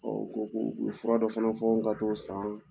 ko ko ko u fura dɔ fana fɔ n ka taa o san.